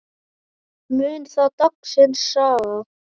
Mun það dagsins saga.